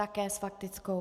Také s faktickou.